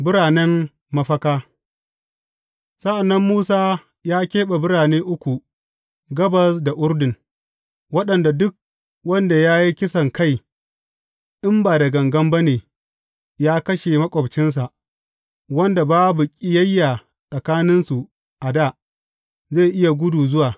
Biranen mafaka Sa’an nan Musa ya keɓe birane uku gabas da Urdun, waɗanda duk wanda ya yi kisankai, in ba da gangan ba ne ya kashe maƙwabcinsa, wanda babu ƙiyayya tsakaninsu a dā, zai iya gudu zuwa.